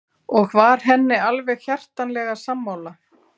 Og var henni alveg hjartanlega sammála.